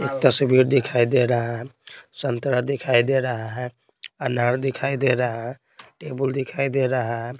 तस्वीर दिखाई दे रहा है संतरा दिखाई दे रहा है अनार दिखाई दे रहा है टेबल दिखाई दे रहा है।